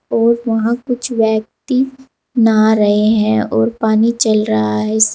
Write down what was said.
और वहां कुछ व्यक्ति नहा रहे हैं और पानी चल रहा है।